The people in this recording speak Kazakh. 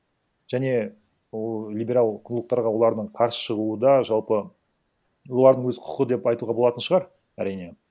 және ол либерал қлубтарға олардың қарсы шығуы да жалпы олардың өз құқы деп айтуға болатын шығар әрине